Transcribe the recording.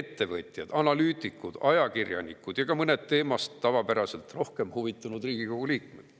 ettevõtjad, analüütikud, ajakirjanikud ja ka mõned teemast tavapärasest rohkem huvituvad riigikogu liikmed.